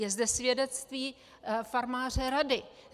Je zde svědectví farmáře Rady.